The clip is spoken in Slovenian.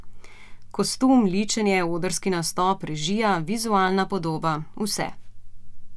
Kostum, ličenje, odrski nastop, režija, vizualna podoba, vse.